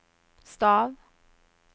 stav